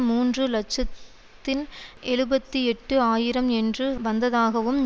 மூன்று இலட்சத்தின் எழுபத்தி எட்டு ஆயிரம் என்று வந்ததாகவும்